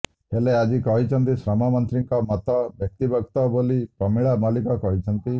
ହେଲେ ଆଜି କହିଛନ୍ତି ଶ୍ରମମନ୍ତ୍ରୀଙ୍କ ମତ ବ୍ୟକ୍ତିଗତ ବୋଲି ପ୍ରମିଳା ମଲ୍ଲିକ କହିଛନ୍ତି